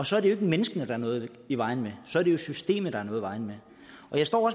så er det jo ikke menneskene der er noget i vejen med så er det jo systemet der er noget i vejen med jeg står